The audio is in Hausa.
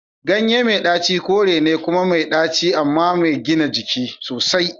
Ganyen mai daci kore ne kuma mai ɗaci amma mai gina jiki sosai.